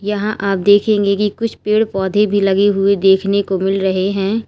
यहां आप देखेंगे कि कुछ पेड़ पौधे भी लगे हुए देखने को मिल रहे हैं।